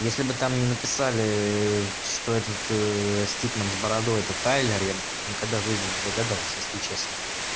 если бы там мне написали что этот стик с бородой это тайлер я никогда в жизни не догадался если честно